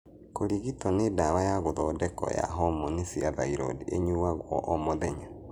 Kũrigito nĩ dawa ya gũthondeko ya hormoni cia thyroid ,ĩnyũagwo o mũthenya.